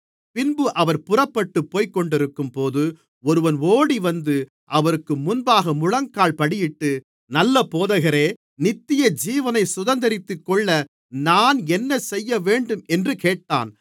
பின்பு அவர் புறப்பட்டுப் போய்க்கொண்டிருக்கும்போது ஒருவன் ஓடிவந்து அவருக்கு முன்பாக முழங்கால்படியிட்டு நல்ல போதகரே நித்தியஜீவனைச் சுதந்தரித்துக்கொள்ள நான் என்னசெய்யவேண்டும் என்று கேட்டான்